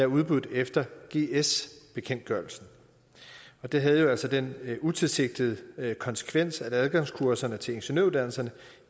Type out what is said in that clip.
udbudt efter gs bekendtgørelsen det havde jo altså den utilsigtede konsekvens at adgangskurserne til ingeniøruddannelserne